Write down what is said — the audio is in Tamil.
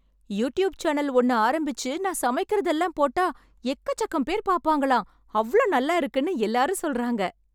யூட்யூப் சேனல் ஒண்ண ஆரம்பிச்சு நான் சமைக்கிறதெல்லாம் போட்டா எக்கச்சக்கம் பேர் பார்ப்பாங்களாம், அவ்ளோ நல்லா இருக்குன்னு எல்லாரும் சொல்றாங்க.